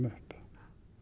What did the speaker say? upp